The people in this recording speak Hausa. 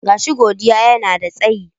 Gashi Godiya yanada tsayi.